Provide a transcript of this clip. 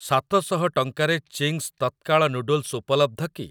ସାତ ଶହ ଟଙ୍କାରେ ଚିଙ୍ଗ୍ସ୍ ତତ୍କାଳ ନୁଡଲ୍ସ୍ ଉପଲବ୍ଧ କି?